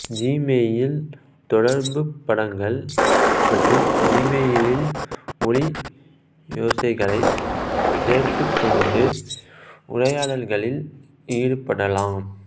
Gmail தொடர்புப் படங்கள் மற்றும் ஜிமெயிலில் ஒலியோசைகளைச் சேர்துக் கொண்டு உரையாடல்களில் ஈடுபடலாம்